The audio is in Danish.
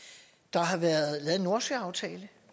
når